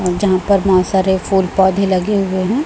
जहां पर मा सारे फूल पौधे लगे हुए हैं।